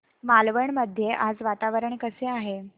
मालवण मध्ये आज वातावरण कसे आहे